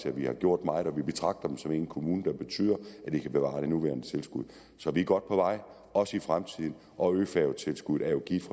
at vi har gjort meget vi betragter dem som en kommune og det betyder at de kan bevare det nuværende tilskud så vi er godt på vej også i fremtiden og øfærgetilskuddet er jo givet